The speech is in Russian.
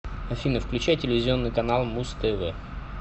афина включай телевизионный канал муз тв